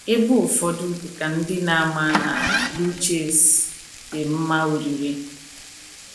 Ebu ụfọdụ, dị ka ndị na - ama na blue cheese, dị mma oriri.